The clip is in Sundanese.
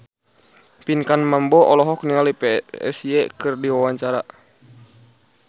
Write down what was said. Pinkan Mambo olohok ningali Psy keur diwawancara